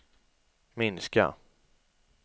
minska